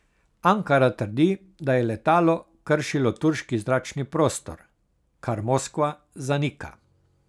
Ankara trdi, da je letalo kršilo turški zračni prostor, kar Moskva zanika.